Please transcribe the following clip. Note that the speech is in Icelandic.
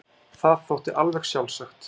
Það þótti alveg sjálfsagt.